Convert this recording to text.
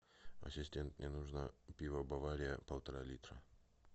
ассистент мне нужно пиво бавария полтора литра